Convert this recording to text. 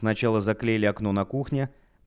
сначала заклеили окно на кухне